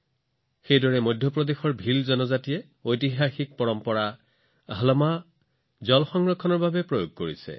একেদৰে মধ্য প্ৰদেশৰ ভিল জনজাতিয়ে পানী সংৰক্ষণৰ বাবে ইয়াৰ এটা ঐতিহাসিক পৰম্পৰা হালমা ব্যৱহাৰ কৰে